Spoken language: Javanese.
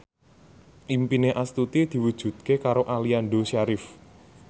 impine Astuti diwujudke karo Aliando Syarif